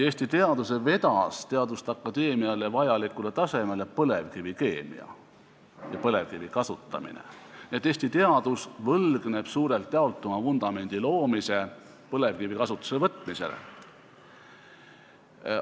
Eesti teaduse vedas teaduste akadeemiale vajalikule tasemele põlevkivikeemia ja põlevkivi kasutamine, nii et Eesti teadus võlgneb oma vundamendi loomise suurelt jaolt põlevkivi kasutusele võtmisele.